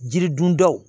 Jiri dundaw